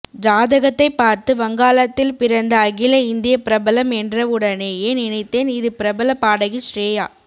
ஜாதகத்தை பார்த்து வங்காளத்தில் பிறந்த அகில இந்திய பிரபலம் என்றவுடனேயே நினைத்தேன் இது பிரபல பாடகி ஷ்ரேயா